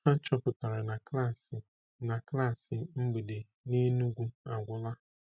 Ha chọpụtara na klaasị na klaasị mgbede n’Enugwu agwụla.